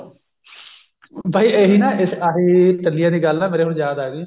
ਬਾਈ ਇਹੀ ਨਾ ਇਸ ਆਹੀ ਟੱਲੀਆਂ ਦੀ ਗੱਲ ਮੇਰੇ ਹੁਣ ਯਾਦ ਆ ਗਈ